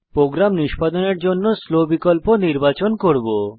programme নিষ্পাদনের জন্য আমি স্লো বিকল্প নির্বাচন করব